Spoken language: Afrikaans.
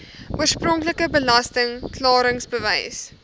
oorspronklike belasting klaringsbewys